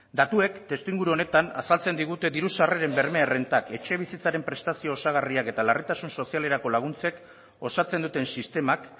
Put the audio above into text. datuek testuinguru honetan azaltzen digute diru sarreren berme errentak etxebizitzaren prestazio osagarriak eta larritasun sozialerako laguntzek osatzen duten sistemak